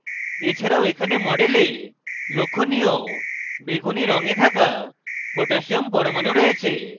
এছাড়াও এখানে model লক্ষ্যনীয় বেগুনী রঙে থাকা potassium পরমাণু রয়েছে